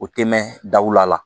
O tɛ mɛn daw la